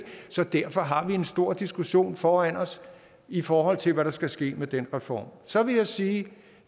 så derfor har vi en stor diskussion foran os i forhold til hvad der skal ske med den reform så vil jeg sige at